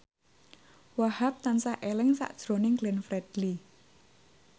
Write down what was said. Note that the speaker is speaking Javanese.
Wahhab tansah eling sakjroning Glenn Fredly